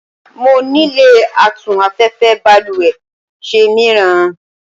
mo nilò atún afẹ́fẹ́ balúwẹ́ ṣe míràn